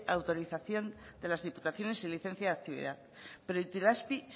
autorización de las diputaciones y licencia de actividad pero itelazpi